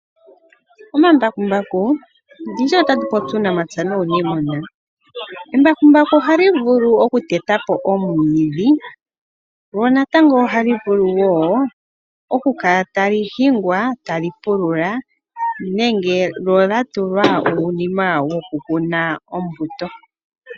Omambakumbaku, ndishi otatu popi uunamapya nuuniimuna. Embakumbambaku oha li vulu oku teta po omwiidhi, lyo natango oha li vulu wo oku kala ta li hingwa ta li pulula, nenge lyo lya tulwa uunima woku kuna ombuto.